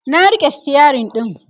na rike stirin ɗin